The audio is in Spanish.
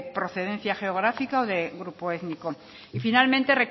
procedencia geográfica o de grupo étnico y finalmente